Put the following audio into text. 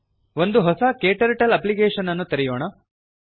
ಒಂದು ಹೊಸ ಕ್ಟರ್ಟಲ್ ಅಪ್ಲಿಕೇಷನ್ ಅನ್ನು ತೆರೆಯೋಣ